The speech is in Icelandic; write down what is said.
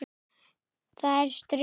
Það er stríð!